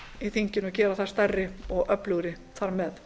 í þinginu gera þær stærri og öflugri þar með